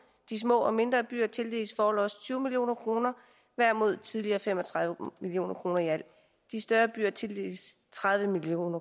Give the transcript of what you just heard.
de små og mindre byer tildeles forlods tyve million kroner hver mod tidligere fem og tredive million kroner i alt de større byer tildeles tredive million